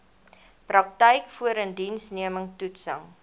praktyk voorindiensneming toetsing